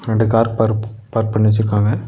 ரெண்டு கார் பார் பார்க் பண்ணி வெச்சுருக்காங்க.